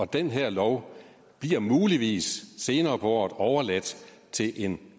den her lov bliver muligvis senere på året overladt til en